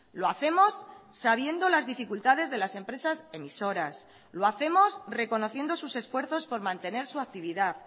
lo hacemos sabiendo las dificultades de las empresas emisoras lo hacemos reconociendo sus esfuerzos por mantener su actividad